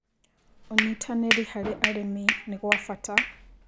Ũnyĩtanĩrĩ harĩ arĩmĩ nĩgwa bata